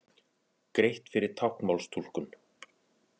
Greitt fyrir táknmálstúlkun